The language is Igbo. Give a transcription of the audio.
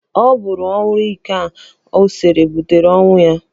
Ọ bụrụ anwụrụ ike ahụ ọ sere butere ọnwụ ya.